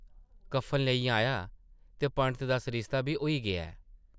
कप्फन लेई आयां ते पंडत दा सरिस्ता बी होई गेआ ऐ ।